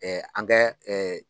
an kɛ